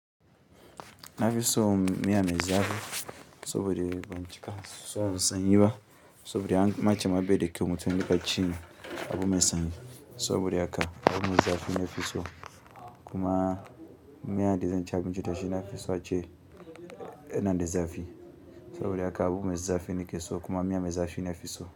Na fi son miya me zafi saboda ban cika son sanyi ba, saboda anma ce be da kyau mutum ya riƙa cin abu me sanyi. Saboda haka abu me zafi na ke so. Kuma miyan da zan ci abinci da shi na fi son in ga de da zafi saboda haka abu me zafi nekeso kuma miya me zafi na fi so.